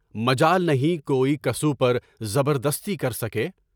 مجال نہیں، کسو پر زبردستی کر سکے۔